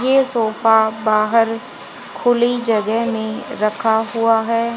ये सोफा बाहर खुली जगह में रखा हुआ है।